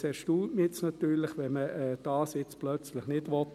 Es erstaunt mich natürlich, wenn man das jetzt plötzlich nicht will.